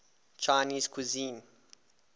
chinese cuisine